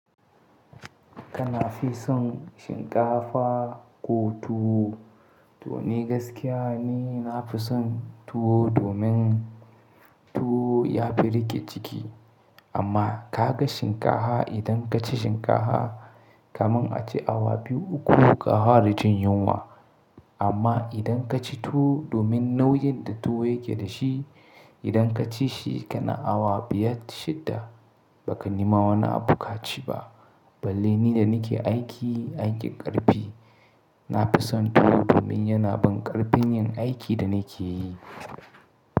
Kana fi son shinkafa ko tuwo? To ni gaskiya ni nafi son tuwo domin tuwo ya fi riƙe ciki. Amma ka ga shinkafa idan ka ci shinkafa kaman a ce awa biyu uku ka fara jin yunwa. Amma idan ka ci tuwo domin nauyin da tuwo yake da shi, idan ka ci shi kana awa biyar shidda ba ka nema wani abu ka ci ba. Balle ni da nake aiki aikin ƙarfi, nafi son tuwo domin yana ban ƙarfin yin aikin da nake yi.